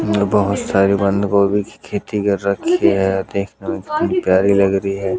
बहोत सारी बंद गोभी की खेती कर रखी है देखने में कितनी प्यारी लग रही है।